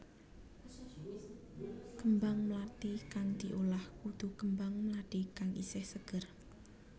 Kembang mlathi kang diolah kudu kembang mlathi kang isih seger